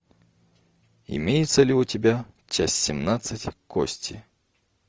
имеется ли у тебя часть семнадцать кости